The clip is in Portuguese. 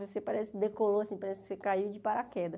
Você parece que decolou, parece que você caiu de paraquedas.